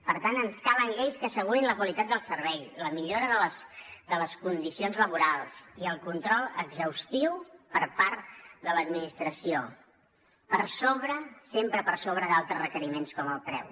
per tant ens calen lleis que assegurin la qualitat del servei la millora de les condicions laborals i el control exhaustiu per part de l’administració per sobre sempre per sobre d’altres requeriments com el preu